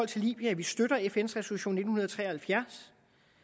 til libyen at vi støtter fns resolution nitten tre og halvfjerds